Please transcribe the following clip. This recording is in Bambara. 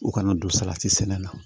U kana don salati sɛnɛ na